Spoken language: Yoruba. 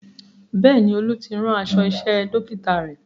Bẹ́ẹ̀ni, Olú ti rán aṣọ iṣẹ́ Dókítà rẹ̀